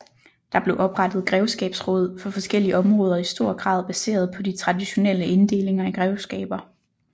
Der blev oprettet grevskabsråd for forskellige områder i stor grad baseret på de traditionelle inddelinger i grevskaber